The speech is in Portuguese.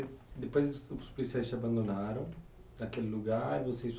Depois os policiais te abandonaram naquele lugar, você e sua